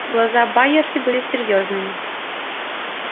глаза байерли были серьёзными